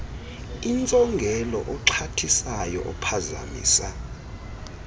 intsongelo oxhathisayo ophazamisa